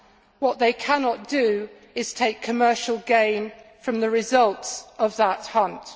What they cannot do is take commercial gain from the results of that hunt.